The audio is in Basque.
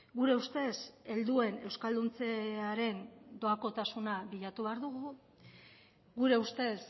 gure ustez helduen euskalduntzearen doakotasuna bilatu behar dugu gure ustez